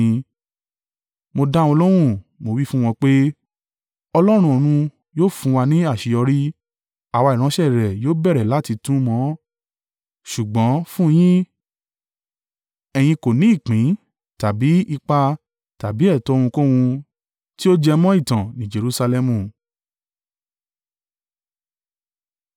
Mo dá wọn lóhùn, mo wí fún wọn pé, “Ọlọ́run ọ̀run yóò fún wa ní àṣeyọrí. Àwa ìránṣẹ́ rẹ̀ yóò bẹ̀rẹ̀ láti tún un mọ, ṣùgbọ́n fún un yin, ẹ̀yin kò ní ìpín tàbí ipa tàbí ẹ̀tọ́ ohunkóhun tí ó jẹ mọ́ ìtàn ní Jerusalẹmu.”